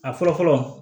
A fɔlɔ fɔlɔ